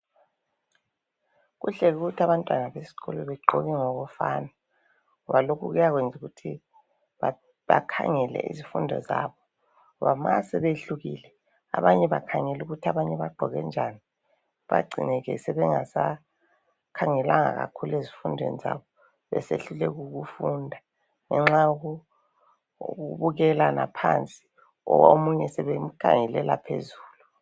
kuhle ukuthi abantwana besikolo begqoke ngokufana ngoba lokhu kuyayenza ukuthi bakhangele izifundo zabo ngoba ma sebehlukile abanye bakhangela ukuthi abanye bagqoke njani bayagcine ke sebengasakhangelanga kakhulu ezifundweni zabo besebehluleka ukufunda ngenxa yokubukelana phansi omunye sebemkhangelela phezulu.